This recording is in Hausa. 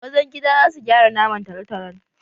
Mazan gida za su gyara naman talotalon